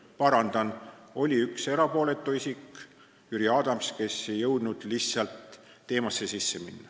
Parandan: oli üks erapooletu isik, Jüri Adams, kes ei jõudnud lihtsalt teemasse sisse minna.